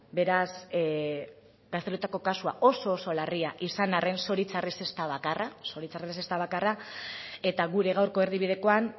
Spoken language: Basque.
beraz gazteluetako kasua oso oso larria izan arren zoritxarrez ez da bakarra eta gure gaurko erdibidekoan